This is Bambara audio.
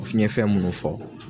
O fiɲɛ fɛn munnu fɔ.